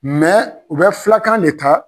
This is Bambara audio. u bɛ filakan de ta